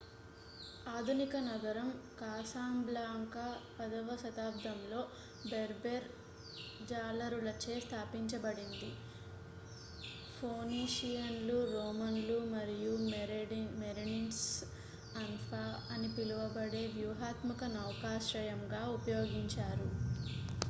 ఆధునిక నగరం కాసాబ్లాంకా 10వ శతాబ్దంలో బెర్బెర్ జాలరులచే స్థాపించబడింది ఫోనీషియన్లు రోమన్లు మరియు మెరెనిడ్స్ అన్ఫా అని పిలువబడే వ్యూహాత్మక నౌకాశ్రయంగా ఉపయోగించారు